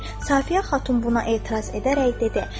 Safiyə xatun buna etiraz edərək dedi: